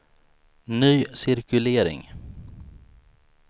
ny cirkulering